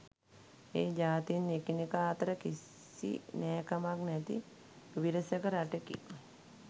ඒ ජාතීන් එකිනෙකා අතර කිසි නෑකමක් නැති විරසක රටකි